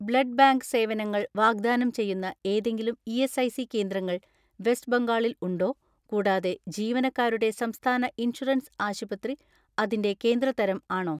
Blood bank സേവനങ്ങൾ വാഗ്ദാനം ചെയ്യുന്ന ഏതെങ്കിലും ഇ.എസ്.ഐ.സി കേന്ദ്രങ്ങൾ വെസ്റ്റ് ബംഗാളിൽ ഉണ്ടോ കൂടാതെ ജീവനക്കാരുടെ സംസ്ഥാന ഇൻഷുറൻസ് ആശുപത്രി അതിന്റെ കേന്ദ്ര തരം ആണോ?